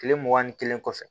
Kile mugan ni kelen kɔfɛ